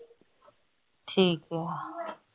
ਠੀਕ ਏ